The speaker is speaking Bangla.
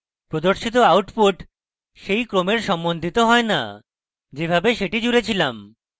প্রদর্শিত output সেই ক্রমের সম্বন্ধিত হয় the যেভাবে সেটি জুড়ে ছিলাম